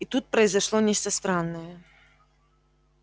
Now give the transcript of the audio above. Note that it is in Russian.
и тут произошло нечто странное